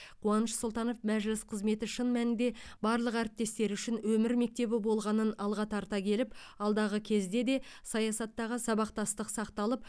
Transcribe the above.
қуаныш сұлтанов мәжіліс қызметі шын мәнінде барлық әріптестері үшін өмір мектебі болғанын алға тарта келіп алдағы кезде де саясаттағы сабақтастық сақталып